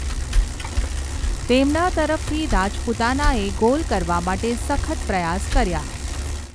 તેમના તરફથી, રાજપૂતાનાએ ગોલ કરવા માટે સખત પ્રયાસ કર્યા.